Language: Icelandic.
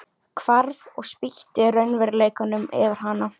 Hvarf og spýtti raunveruleikanum yfir hana.